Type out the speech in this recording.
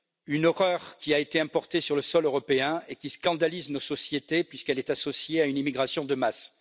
Une horreur qui a été importée sur le sol européen et qui scandalise nos sociétés, puisqu'elle est associée à une immigration de masse.